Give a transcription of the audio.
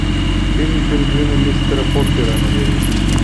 фильм пингвины мистера поппера набери